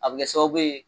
A bɛ kɛ sababu ye